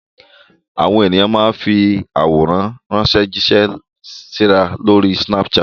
Àwọn ènìyàn máa ń fi àwọn àwòrán jíṣẹ́ síra lórí Snapchat.